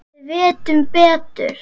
Við vitum betur.